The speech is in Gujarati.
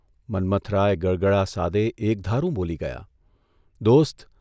મન્મથરાય ગળગળા સાદે એકધારું બોલી ગયાઃ ' દોસ્ત !